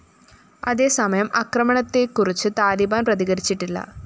അതേസമയം ആക്രമണത്തെക്കുറിച്ച് താലിബാന്‍ പ്രതികരിച്ചിട്ടില്ല